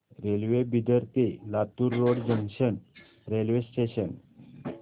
railway Bidar ते Latur road junction railway station